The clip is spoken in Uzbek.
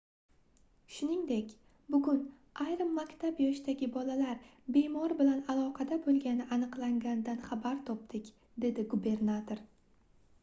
shuningdek bugun ayrim maktab yoshidagi bolalar bemor bilan aloqada boʻlgani aniqlanganidan xabar topdik - dedi gubernator